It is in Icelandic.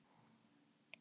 Svavar: Af hverju er það?